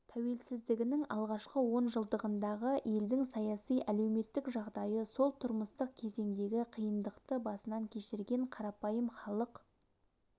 тәуелсіздігінің алғашқы он жылдығындағы елдің саяси-әлеуметтік жағдайы сол тұрмыстық кезеңдегі қиындықты басынан кешірген қарапайым халық